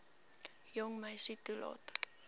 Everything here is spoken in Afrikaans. jong meisie toelaat